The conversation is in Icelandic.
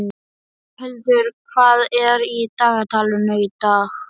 Boghildur, hvað er í dagatalinu í dag?